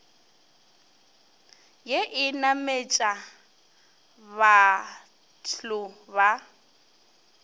ye e nametša bathlo ba